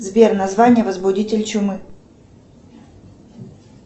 сбер название возбудитель чумы